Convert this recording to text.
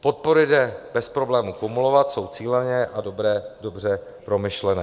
Podpory jde bez problému kumulovat, jsou cíleně a dobře promyšlené.